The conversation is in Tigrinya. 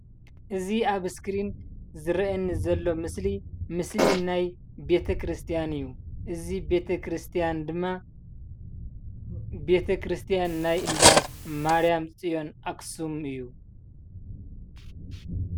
እዚ ኣብ ስክሪን ዝርአየኒ ዘሎ ምስሊ ምስሊ ናይ ቤተ ክርስትያን እዩ እዚ ቤተ ክርስትያን ድማ ቤተክርስትያን ናይ እንዳ ማርያምጽዮን ኣክሱም እዩ።